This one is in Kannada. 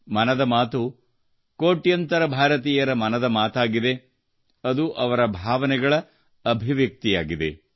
ಮನದ ಮಾತು ಕೋಟ್ಯಂತರ ಭಾರತೀಯರ ಮನದ ಮಾತಾಗಿದೆ ಅದು ಅವರ ಭಾವನೆಗಳ ಅಭಿವ್ಯಕ್ತಿಯಾಗಿದೆ